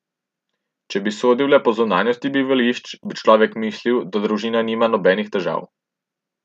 Če bi sodil le po zunanjosti bivališča, bi človek mislil, da družina nima nobenih težav.